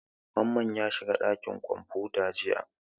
Mamman ya shiga ɗakin kwamfuta jiya.